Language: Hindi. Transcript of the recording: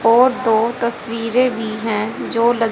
और दो तस्वीरें भी हैं जो--